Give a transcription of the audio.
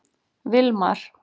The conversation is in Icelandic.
Vilmar